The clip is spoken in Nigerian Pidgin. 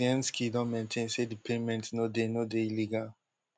kuczynski don maintain say di payment no dey no dey illegal